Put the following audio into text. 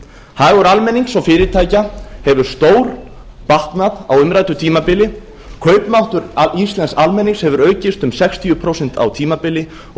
hagur almennings og fyrirtækja hefur stórbatnað á umræddu tímabili kaupmáttur íslensks almennings hefur aukist um sextíu prósent á tímabili og